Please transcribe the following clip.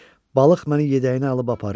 Balıq məni yedəyinə alıb aparır.